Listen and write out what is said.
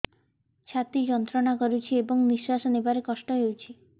ଛାତି ଯନ୍ତ୍ରଣା କରୁଛି ଏବଂ ନିଶ୍ୱାସ ନେବାରେ କଷ୍ଟ ହେଉଛି